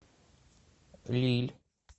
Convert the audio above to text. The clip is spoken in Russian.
лилль